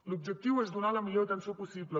l’objectiu és donar la millor atenció possible